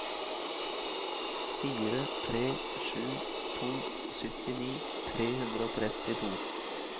fire tre sju to syttini tre hundre og trettito